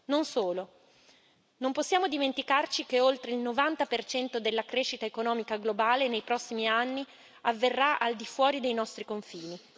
Non solo non possiamo dimenticarci che oltre il 90 della crescita economica globale nei prossimi anni avverrà al di fuori dei nostri confini.